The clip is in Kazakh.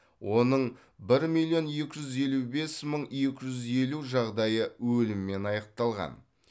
оның бір миллион екі жүз елу бес мың екі жүз елу жағдайы өліммен аяқталған